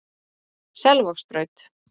Selvogsbraut